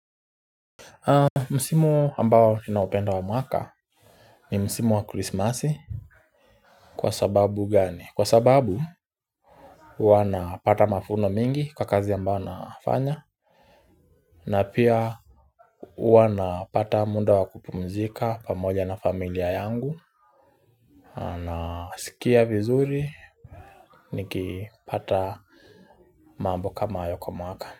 Msimu ambao ninaupenda wa mwaka ni msimu wa krismasi Kwa sababu gani? Kwa sababu huwa napata mafuno mingi kwa kazi ambao nafanya na pia huwa napata munda wa kupumzika pamoja na familia yangu Nasikia vizuri nikipata mambo kama hayo kwa mwaka.